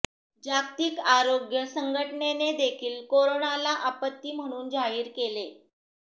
जागतिक आरोग्य संघटनेने देखील कोरनाला आपत्ती म्हणून जाहीर केले